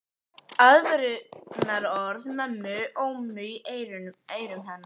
Aðvörunarorð mömmu óma í eyrum hennar.